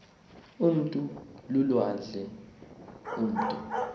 umntu lulwandle umutu